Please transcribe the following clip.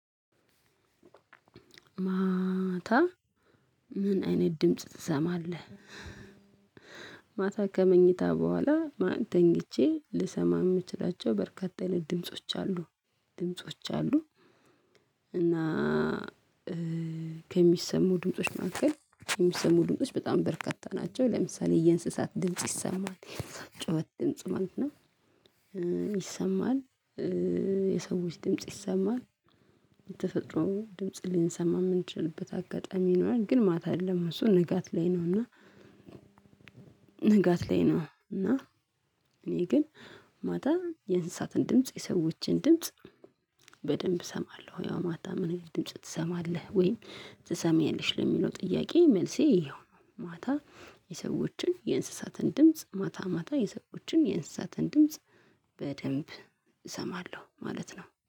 ማታ ምን አይነት ድምጽ ትሰማለህ? ከመኝታ በኋላ ማታ ተኝቼ ልሰማ የምችላቸው በርካታ አይነት ድምጾች አሉ ድምጾች አሉ እና ከሚሰሙ ድምጾች መካከል የሚሰሙ ድምጾች በጣም በርካታ ናቸው ለምሳሌ የእንስሳት ድምጽ ይሰማሃል የእንስሳት ጩኸት ድምጽ ማለት ነው ይሰማል የሰዎች ድምጽ ይሰማል የተፈጥሮ ድምጽ ልንሰማ የምንችልበት አጋጣሚ ይኖራል ግን ማታ የለም እሱ ንጋት ላይ ነው እና ንጋት ላይ ነው እና እኔ ግን ማታ የእንስሳትን ድምጽ የሰዎችን ድምጽ በደንብ እሰማለሁ ያው ማታ ምን አይነት ድምጽ ትሰማለህ ወይም ትሰማኛለሽ ለሚለው ጥያቄ መልሴ ይሄው ነው ማታ የሰዎችን የእንስሳትን ድምጽ ማታ ማታ የሰዎችን የእንስሳትን ድምጽ በደንብ እሰማለሁ ማለት ነው።